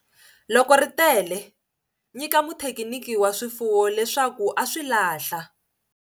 Loko ri tele, nyika muthekiniki wa swifuwo leswaku a swi lahla.